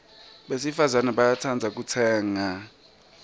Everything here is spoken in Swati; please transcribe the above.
besifazana bayatsandza kutsenga